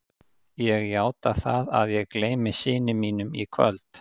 Ég játa það að ég gleymi syni mínum í kvöld.